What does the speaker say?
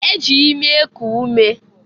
The nose is used for breathing.